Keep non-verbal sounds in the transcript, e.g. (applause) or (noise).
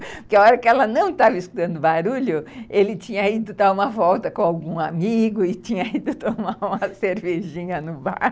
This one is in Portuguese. Porque a hora que ela não estava escutando o barulho, ele tinha (laughs) ido dar uma volta com algum amigo e tinha ido tomar uma cervejinha no bar. (laughs)